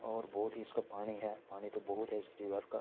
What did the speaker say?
और बोहोत ही इसका पाणी है। पाणी तो बहुत है इस रिभर का।